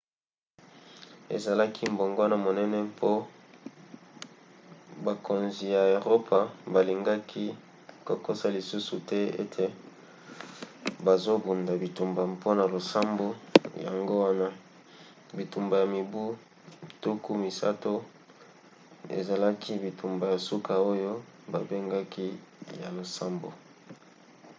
ezalaki mbongwana monene mpo bakonzi ya eropa balingaki kokosa lisusu te ete bazobunda bitumba mpona losambo. yango wana bitumba ya mibu tuku misato ezalaki bitumba ya suka oyo babengaki ya losambo